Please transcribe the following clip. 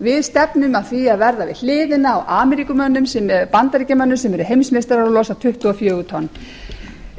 við stefnum að því að verða við hliðina á bandaríkjamönnum sem eru heimsmeistarar og losa tuttugu og fjögur tonn